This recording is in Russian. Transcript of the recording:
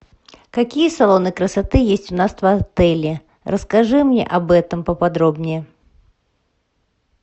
какие салоны красоты есть у нас в отеле расскажи мне об этом по подробнее